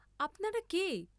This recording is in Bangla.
আপনারা কে?